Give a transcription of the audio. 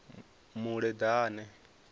muleḓane